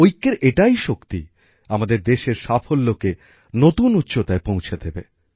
ঐক্যের এটাই শক্তি আমাদের দেশের সাফল্যকে নতুন উচ্চতায় পৌঁছে দেবে